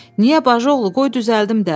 Niyə bacıoğlu, qoy düzəldim də.